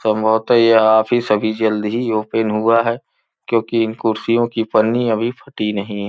संभवत यह ऑफिस अभी जल्दी ही ओपन हुआ है क्योंकि इन कुर्सियों की पन्नी अभी फटी नहीं है।